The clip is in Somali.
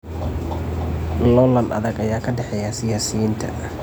Loolan adag ayaa ka dhaxeeya siyaasiyiinta.